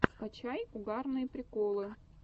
скачай угарные приколы